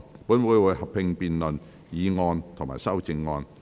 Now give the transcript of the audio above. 本會會合併辯論議案及修正案。